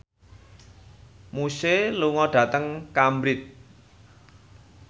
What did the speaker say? Muse lunga dhateng Cambridge